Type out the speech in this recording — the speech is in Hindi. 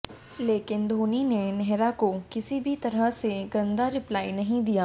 लेकिन धोनी ने नेहरा को किसी भी तरह से गंदा रिप्लाई नहीं दिया